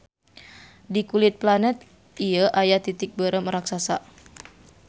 Di kulit planet ieu aya titik beureum raksasa.